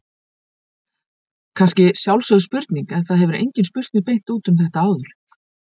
Kannski sjálfsögð spurning en það hefur enginn spurt mig beint út um þetta áður.